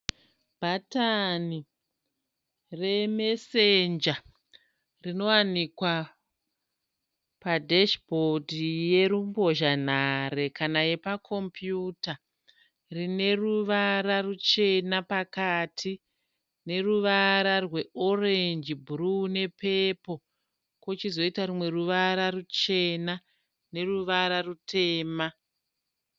Bhatani remesenja rinowanikwa pasheshibhondi yerumbozhanhare kana yepakopuyuta. Rineruvara ruchena pakati , neruvara rweorenji , bhuruwu ne pepoo. Pochizoita rumwe ruvara ruchena neruvara rutema.